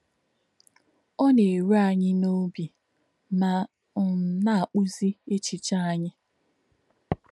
Ọ́ nā̄-èrù ànyí̄ n’ọ̀bí̄ mā̄ um nā̄-àkpù̄zí̄ èchè̄chí̄ ànyí̄.